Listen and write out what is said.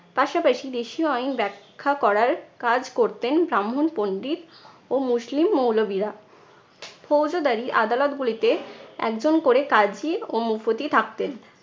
পাশাপাশি দেশীয় আইন ব্যাখ্যা করার কাজ করতেন ব্রাহ্মণ পণ্ডিত ও মুসলিম মৌলবিরা ফৌজোদারি আদালতগুলিতে একজন করে কাজি ও মুফতি থাকতেন।